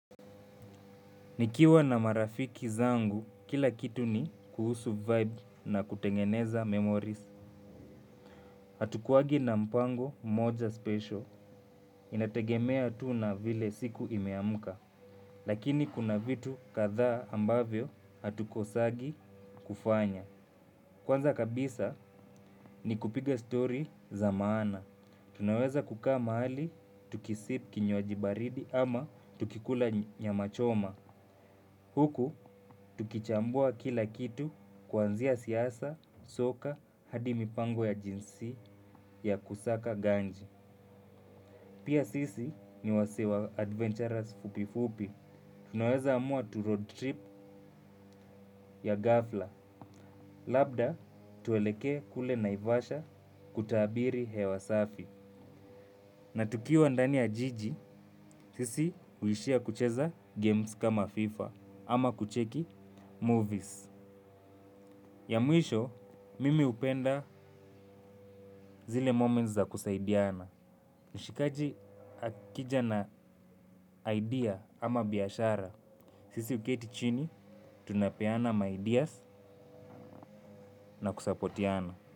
Nikiwa na marafiki zangu, kila kitu ni kuhusu vibe na kutengeneza memories. Hatukuwangi na mpango moja special, inategemea tu na vile siku imeamka. Lakini kuna vitu kadhaa ambavyo hatukosangi kufanya. Kwanza kabisa, ni kupiga story za maana. Tunaweza kukaa mahali, tukisip kinywaji baridi ama tukikula nyama choma huku, tukichambua kila kitu kuanzia siasa, soka hadi mipango ya jinsi ya kusaka ganji. Pia sisi ni wasee wa adventurers fupifupi. Tunaweza amua tu road trip ya ghafla. Labda, tuelekee kule Naivasha kutaabiri hewa safi. Na tukiwa ndani ya jiji, sisi huishia kucheza games kama FIFA ama kucheki movies. Ya mwisho, mimi hupenda zile moments za kusaidiana. Mshikaji akija na idea ama biashara. Sisi huketi chini, tunapeana ma ideas na kusapotiana.